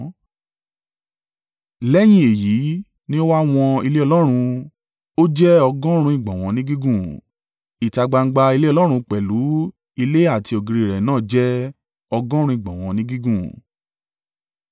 Lẹ́yìn èyí ní ó wá wọn ilé Ọlọ́run, ó jẹ́ ọgọ́rùn-ún ìgbọ̀nwọ́ ni gígùn, ìta gbangba ilé Ọlọ́run pẹ̀lú ilé àti ògiri rẹ̀ náà jẹ́ ọgọ́rùn-ún ìgbọ̀nwọ́ ni gígùn.